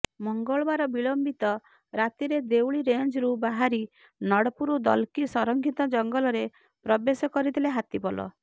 ମଙ୍ଗଳବାର ବିଳମ୍ବିତ ରାତିରେ ଦେଉଳି ରେଞ୍ଜରୁ ବାହାରି ନଡ଼ପୁର ଦଲକୀ ସଂରକ୍ଷିତ ଜଙ୍ଗଲରେ ପ୍ରବେଶ କରିଥିଲେ ହାତୀପଲ